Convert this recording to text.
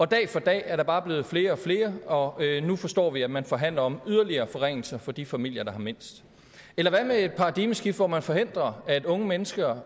dag for dag er der bare blevet flere og flere og nu forstår vi at man forhandler om yderligere forringelser for de familier der har mindst eller hvad med et paradigmeskifte hvor man forhindrer at unge mennesker